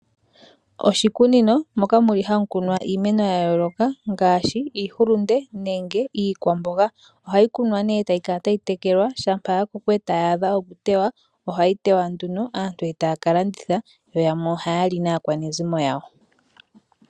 Oshikunino moka hamu kunwa iimeno ya yooloka ngaashi iihulunde, nenge iikwamboga. Ohayi kunwa nduno e tayi kala tayi tekelwa shampa ya koko e tayi adha okuteywa ohayi teywa nduno aantu e taya ka landitha yo yamwe ohaya li naakwanezimo yawo.